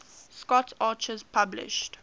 scott archer published